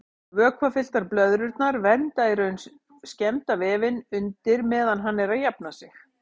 Vökvafylltar blöðrurnar vernda í raun skemmda vefinn undir meðan hann er að jafna sig.